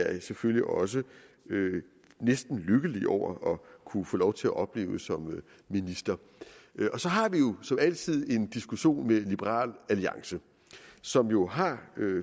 er jeg selvfølgelig også næsten lykkelig over at kunne få lov til at opleve som minister og så har vi jo som altid en diskussion med liberal alliance som jo har